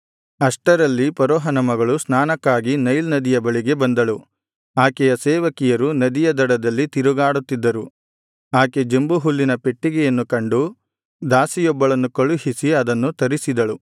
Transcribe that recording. ಅಷ್ಟರಲ್ಲಿ ಫರೋಹನ ಮಗಳು ಸ್ನಾನಕ್ಕಾಗಿ ನೈಲ್ ನದಿಯ ಬಳಿಗೆ ಬಂದಳು ಆಕೆಯ ಸೇವಕಿಯರು ನದಿಯ ದಡದಲ್ಲಿ ತಿರುಗಾಡುತ್ತಿದ್ದರು ಆಕೆ ಜಂಬುಹುಲ್ಲಿನ ಪೆಟ್ಟಿಗೆಯನ್ನು ಕಂಡು ದಾಸಿಯೊಬ್ಬಳನ್ನು ಕಳುಹಿಸಿ ಅದನ್ನು ತರಿಸಿದಳು